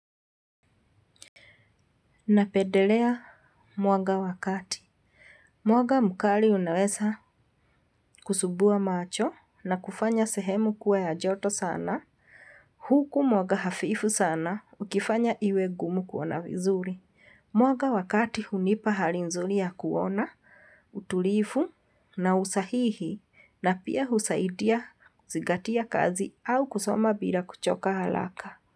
Napendelea mwaga wa kati. Mwanga mkali unaweza kusumbua macho na kufanya sehemu kuwa ya joto sana. Huku mwanga hafifu sana ukifanya iwe gumu kuona vizuri. Mwanga wa kati hunipa hali nzuri ya kuona, utulivu na usahihi na pia husaidia kuzingatia kazi au kusoma bila kuchoka haraka.